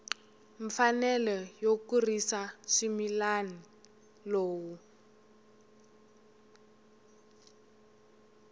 mfanelo yo kurisa swimila lowu